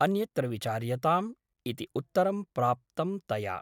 अन्यत्र विचार्यताम् इति उत्तरं प्राप्तं तया ।